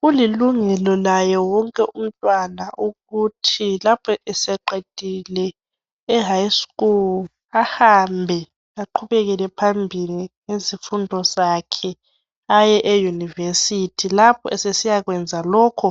Kulilungelo laye wonke umntwana ukuthi lapho eseqedile e High School ahambe aqhubekele phambili ngezifundo zakhe aye e University lapho esesiyakwenza lokhu